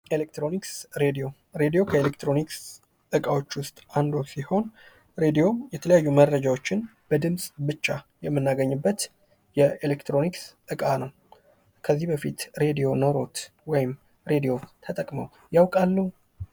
ኤሌክትሮኒክስ ራዲዮ ዕቃዎች ውስጥ አንዱ ሲሆን ሬዲዮ የተለያዩ መረጃዎችን በድምጽ ብቻ የሚናገኝበት የኤሌክትሮኒክስ እቃ ነው። ከዚህ በፊት ሬዲዮን ኖሮት ወይም ሬዲዮን ተጠቅመው ያውቃሉ?